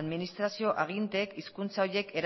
administrazio aginteek hizkuntza horiek